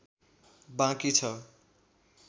बाँकी छ